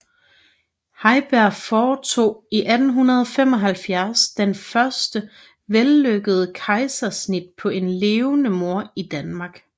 Heiberg foretog i 1875 det første vellykkede kejsersnit på en levende mor i Danmark